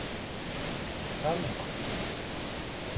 Kalman